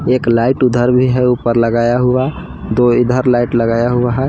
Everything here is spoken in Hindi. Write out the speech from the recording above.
एक लाईट उधर भी है ऊपर लगाया हुआ दो इधर लाईट लगाया हुआ है।